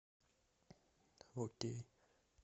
окей